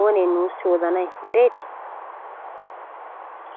oonee nussi odanayi eretii?